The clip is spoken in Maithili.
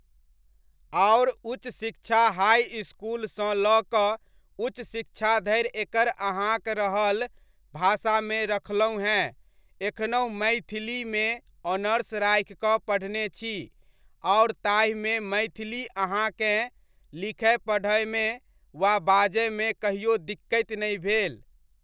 आओर उच्च शिक्षा हाइ इसकुलसँ लऽ कऽ उच्च शिक्षा धरि एकर अहाँक रहल भाषामे रखलहुँ हेँ एखनहुँ मैथिलीमे ऑनर्स राखि कऽ पढ़ने छी, आओर ताहिमे मैथिली अहाँकेँ लिखय पढ़यमे वा बाजयमे कहिओ दिक्कति नहि भेल।